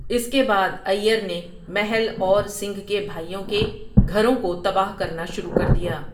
اس کے بعد آئیر نے محل اور سنگھ کے بھائیوں کے گھروں کو تباہ کرنا شروع کر دیا۔